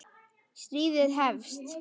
Stríðið hefst